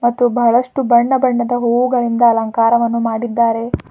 ಮತ್ತು ಬಹಳಷ್ಟು ಬಣ್ಣ ಬಣ್ಣದ ಹೂಗಳಿಂದ ಅಲಂಕಾರವನ್ನು ಮಾಡಿದ್ದಾರೆ.